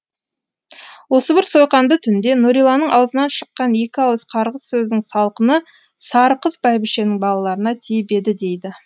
осы бір сойқанды түнде нүриланың аузынан шыққан екі ауыз қарғыс сөздің салқыны сарықыз бәйбішенің балаларына тиіп еді дейді